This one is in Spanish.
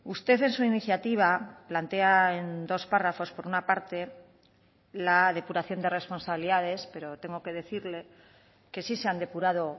usted en su iniciativa plantea en dos párrafos por una parte la depuración de responsabilidades pero tengo que decirle que sí se han depurado